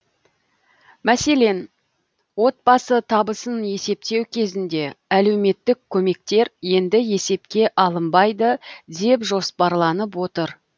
мәселен отбасы табысын есептеу кезінде әлеуметтік көмектер енді есепке алынбайды деп жоспарланып отыр